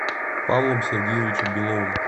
павлом сергеевичем беловым